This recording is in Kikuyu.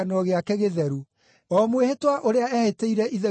o mwĩhĩtwa ũrĩa eehĩtĩire ithe witũ Iburahĩmu: